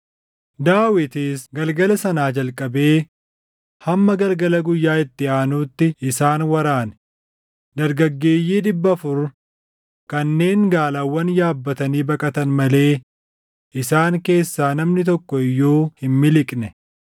Daawitis galgala sanaa jalqabee hamma galgala guyyaa itti aanuutti isaan waraane; dargaggeeyyii dhibba afur kanneen gaalawwan yaabbatanii baqatan malee isaan keessaa namni tokko iyyuu hin miliqne.